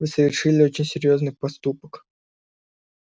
вы совершили очень серьёзный проступок